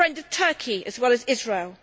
I am a friend of Turkey as well as Israel.